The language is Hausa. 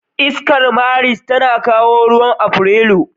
Iskar Maris ta kawo ruwan Afrilu.